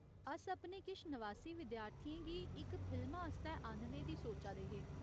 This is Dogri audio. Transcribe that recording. अस अपने किश नवासी विद्यार्थियें गी इक फिल्मा आस्तै आह्‌न्ने दी सोचा दे हे।